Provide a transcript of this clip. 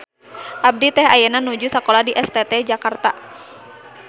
Abdi teh ayeuna nuju sakola di STT Jakarta.